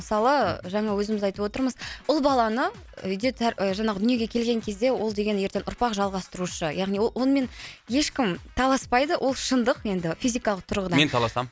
мысалы жаңа өзіміз айтып отырмыз ұл баланы үйде жаңағы дүниеге келген кезде ол деген ертең ұрпақ жалғастырушы яғни ол онымен ешкім таласпайды ол шындық енді физикалық тұрғыдан мен таласам